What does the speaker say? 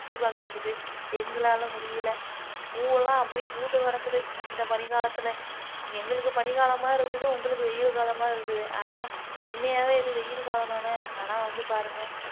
சுத்தி பாக்குறதுக்கு எங்களால முடியல, பூவெல்லாம் அப்படி பூத்து கிடக்குது இந்த பனிக்காலத்துல எங்களுக்கு பனிக்காலமா இருக்குது உங்களுக்கு வெயில் காலமா இருக்குது ஆனா உண்மையாவே இது வெயில் காலம் தானே ஆனா வந்து பாருங்க